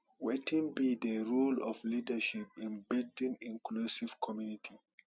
wetin be di role of leadership in building inclusive community